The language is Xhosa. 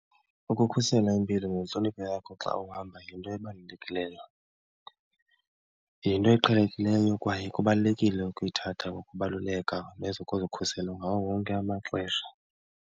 Ukukhusela impilo nentlonipho yakho xa uhamba yinto ebalulekileyo. Yinto eqhelekileyo kwaye kubalulekile ukuyithatha ngokubaluleka nezokuzikhusela ngawo wonke amaxesha.